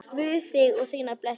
Guð þig og þína blessi.